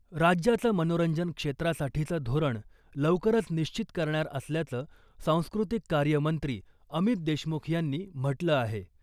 राज्याचं मनोरंजन क्षेत्रासाठीचं धोरण लवकरच निश्चित करणार असल्याचं सांस्कृतिक कार्य मंत्री अमित देशमुख यांनी म्हटलं आहे .